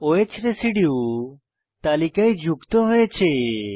o হ্ residue তালিকায় যুক্ত হয়েছে